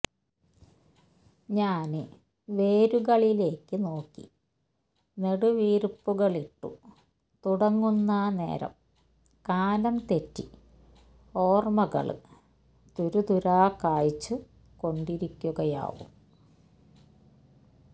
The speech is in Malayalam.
ഞാന് വേരുകളിലേക്ക് നോക്കി നെടുവീര്പ്പുകളിട്ടു തുടങ്ങുന്ന നേരം കാലംതെറ്റി ഓര്മകള് തുരതുരാ കായ്ച്ചു കൊണ്ടിരിക്കുകയാവും